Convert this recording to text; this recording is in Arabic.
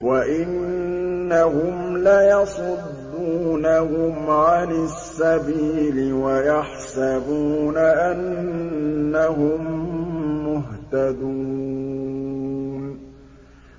وَإِنَّهُمْ لَيَصُدُّونَهُمْ عَنِ السَّبِيلِ وَيَحْسَبُونَ أَنَّهُم مُّهْتَدُونَ